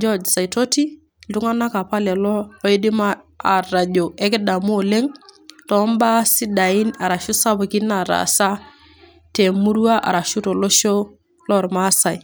George Saitoti, iltung'ana opa lelo oidim atajo ekidemu oleng' too imbaa sidain arashu sapukin nataasa ye emurua arashu tolosho loolmaasai.